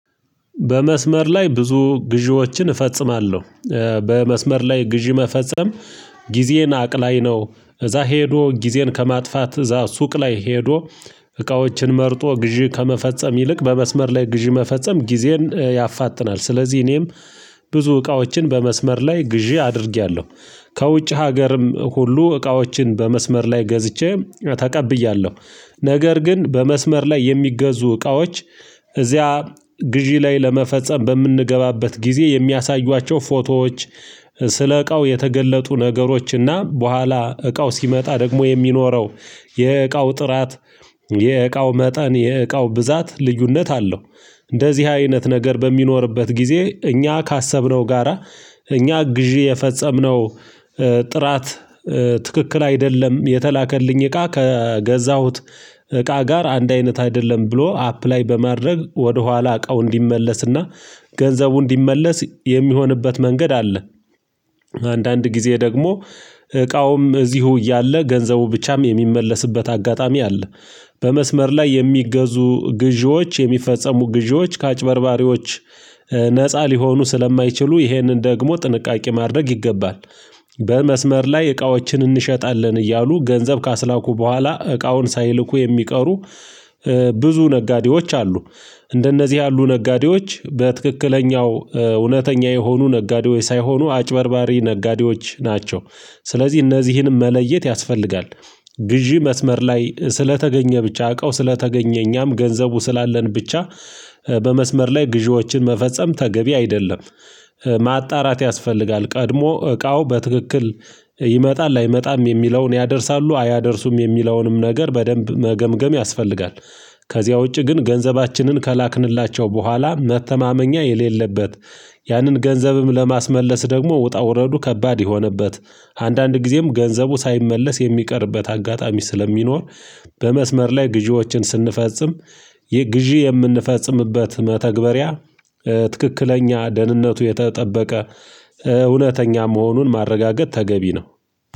በመስመር ላይ ብዙ ግዢዎችን እፈጽማለሁ። በመስመር ላይ ግዢ መፈጸም ጊዜ አቅላይ ነው። እዛ ሄዶ ጊዜን ከማጥፋት እዛ ሱቅ ላይ ሄዶ እቃዎችን መርጦ ግዢ ከመፈጸም ይልቅ በመስመር ላይ ግዢ መፈጸም ጊዜን ያፋጥናል። ስለዚህ እኔም ብዙ እቃዎችን በመስመር ላይ ግዢ አድርጌያለሁ። ከውጭ ሀገርም ሁሉ እቃዎችን በመስመር ላይ ገዝቼ ተቀብያለሁ። ነገር ግን በመስመር ላይ የሚገዙ እቃዎች። እዚያ ግዢ ላይ ለመፈጸም በምንገባበት ጊዜ የሚያሳዩዋቸው ፎቶዎች። ስለ እቃው የተገለጡ ነገሮች እና በኋላ እቃው ሲመጣ ደግሞ የሚኖረው የእቃው ጥራት የእቃው መጠን የእቃው ብዛት ልዩነት አለው። እንደዚህ አይነት ነገር በሚኖርበት ጊዜ እኛ ካሰብነው ጋራ እኛ ግዢ የፈጸምነው። ጥራት ትክክል አይደለም የተላከልኝ እቃ ከገዛሁት እቃ ጋር አንድ አይነት አይደለም። ብሎ አፕላይ በማድረግ ወደኋላ እቃው እንዲመለስና ገንዘቡ እንዲመለስ የሚሆንበት መንገድ አለ። አንዳንድ ጊዜ ደግሞ እቃውም እዚሁ እያለ ገንዘቡ ብቻም የሚመለስበት አጋጣሚ አለ። በመስመር ላይ የሚገዙ ግዢዎች የሚፈጸሙ ግዢዎች ከአጭበርባሪዎች ነፃ ሊሆኑ ስለማይችሉ ይሄንን ደግሞ ጥንቃቄ ማድረግ ይገባል። በመስመር ላይ እቃዎችን እንሸጣለን እያሉ ገንዘብ ካስላኩ በኋላ እቃውን ሳይልኩ የሚቀሩ ብዙ ነጋዴዎች አሉ። እንደነዚህ ያሉ ነጋዴዎች በትክክለኛው እውነተኛ የሆኑ ነጋዴወች ሳይሆኑ አጭበርባሪ ነጋዴዎች ናቸው። ስለዚህ እነዚህንም መለየት ያስፈልጋል። ግዢ መስመር ላይ ስለተገኘ ብቻ እቃው ስለተገኘ እኛም ገንዘቡ ስላለን ብቻ በመስመር ላይ ግዢዎችን መፈጸም ተገቢ አይደለም። ማጣራት ያስፈልጋል ቀድሞ እቃው በትክክል ይመጣል አይመጣም የሚለውን ያደርሳሉ አያደርሱም የሚለውንም ነገር በደንብ መገምገም ያስፈልጋል። ከዚያ ውጪ ግን ገንዘባችንን ከላክንላቸው በኋላ መተማመኛ የሌለበት ያንን ገንዘብም ለማስመለስ ደግሞ ውጣ ውረዱ ከባድ የሆነበት አንዳንድ ጊዜም ገንዘቡ ሳይመለስ የሚቀርበት አጋጣሚ ስለሚኖር። በመስመር ላይ ግዢዎችን ስንፈጽም ግዢ የምንፈጽምበት መተግበሪያ። ትክክለኛ ደህንነቱ የተጠበቀ እውነተኛ መሆኑን ማረጋገጥ ተገቢ ነው።